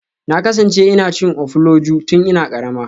Na kasance ina cin ofuloju tun ina karama.